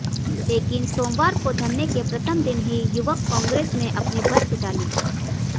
लेकिन सोमवार को धरने के प्रथम दिन ही युवक कांग्रेस ने अपनी भद्द पिटा ली